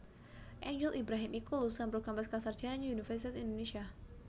Angel Ibrahim iku lulusan program pascasarjana Universitas Indonésia